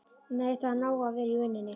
Nei, það er nóg að gera í vinnunni.